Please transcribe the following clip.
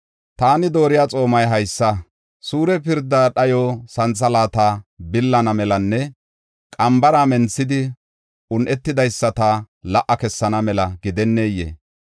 “Taani dooriya xoomay haysa; suure pirda dhayo santhalaata billana melanne qambara menthidi un7etidaysata la77a kessana mela gidenneyee?